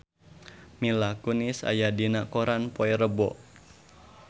Mila Kunis aya dina koran poe Rebo